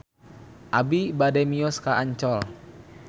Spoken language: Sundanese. Abi bade mios ka Ancol